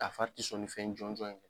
A fari ti sɔn nin fɛn jɔn jɔn in n